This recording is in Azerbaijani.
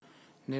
Nəhayət.